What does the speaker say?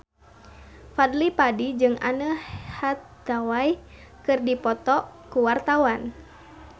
Fadly Padi jeung Anne Hathaway keur dipoto ku wartawan